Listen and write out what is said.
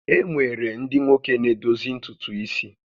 E nwere ndị nwoke na-edozi ntutu isi